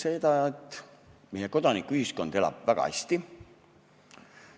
Selgus, et meie kodanikuühiskond elab väga hästi.